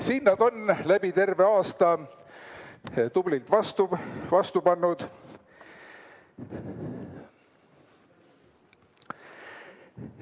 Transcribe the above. Siin nad on, läbi terve aasta tublilt vastu pidanud!